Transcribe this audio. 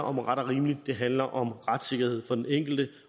om ret og rimeligt det handler om retssikkerhed for den enkelte